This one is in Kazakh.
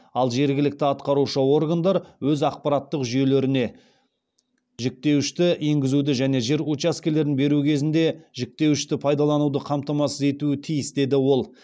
ал жергілікті атқарушы органдар өз ақпараттық жүйелеріне жіктеуішті енгізуді және жер учаскелерін беру кезінде жіктеуішті пайдалануды қамтамасыз етуі тиіс деді ол